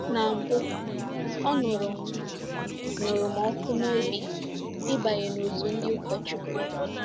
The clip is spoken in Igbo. Ná mbụ, ọ nụrụ m nụrụ m ọkụ n’obi ịbanye n’òtù ndị ụkọchukwu.